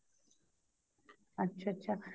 ਅੱਛਾ ਅੱਛਾ